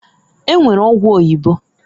E nwere ọgwụ oyibo.